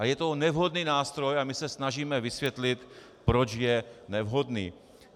A je to nevhodný nástroj a my se snažíme vysvětlit, proč je nevhodný.